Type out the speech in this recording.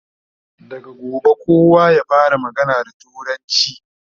daga gobe kowa ya fara magana da turanci!